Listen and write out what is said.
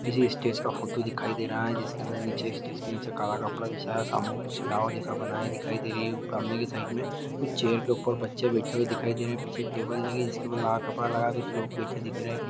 किसी स्टेज का फोटो दिखाई दे रहा है जिसके अंदर नीचे स्टेज के नीचे काला कपड़ा बिछया सामने कुछ जैसा बनाया दिखाई दे रही है ऊपर सामने की साइड में कुछ चेयर के ऊपर बच्चे बैठे हुए दिखाई दे रहे है पीछे टेबल लगी है जिसके ऊपर लाल कपड़ा लगा है कुछ लोग बैठे दिख रहे है।